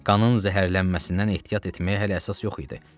Qanın zəhərlənməsindən ehtiyat etməyə hələ əsas yox idi.